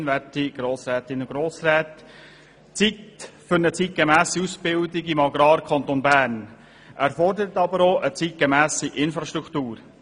Eine zeitgemässe Ausbildung im Agrarkanton Bern erfordert auch eine zeitgemässe Infrastruktur.